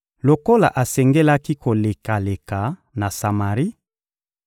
Lokola asengelaki kolekela na Samari,